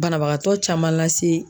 Banabagatɔ caman lase.